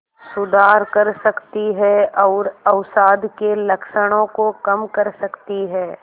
सुधार कर सकती है और अवसाद के लक्षणों को कम कर सकती है